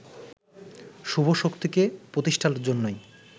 শুভ শক্তিকে প্রতিষ্ঠার জন্যই